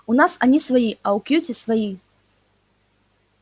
у нас они свои а у кьюти свои